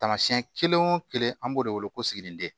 Taamasiyɛn kelen o kelen an b'o de wele ko siginiden